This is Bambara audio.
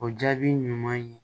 O jaabi ɲuman ye